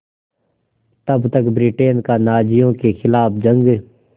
तब तक ब्रिटेन का नाज़ियों के ख़िलाफ़ जंग